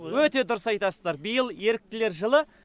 өте дұрыс айтасыздар биыл еріктілер жылы